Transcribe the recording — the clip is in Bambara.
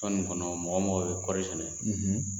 Tɔn nin kɔnɔ mɔgɔ o mɔgɔ bi kɔri sɛnɛ